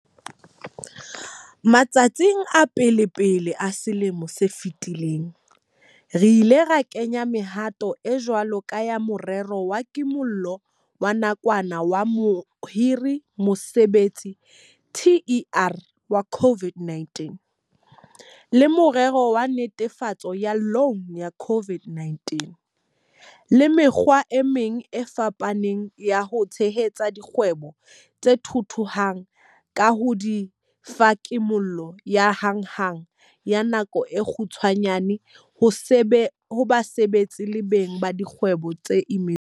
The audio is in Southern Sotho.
Matsatsing a pelepele a selemo se fetileng, re ile ra kenya mehato e jwalo ka ya Morero wa Kimollo wa Nakwana wa Mohiri-Mosebetsi TERS wa COVID-19, le Morero wa Netefaletso ya Loune ya COVID-19 le mekgwa e meng e fapaneng ya ho tshehetsa dikgwebo tse thuthuhang ka ho di fa kimollo ya hanghang ya nako e kgutshwanyane ho basebetsi le beng ba dikgwebo ba imetsweng.